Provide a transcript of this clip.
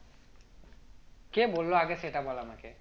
কে বললো আগে সেটা বল আমাকে